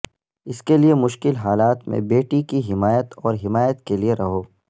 اس کے لئے مشکل حالات میں بیٹی کی حمایت اور حمایت کے لئے رہو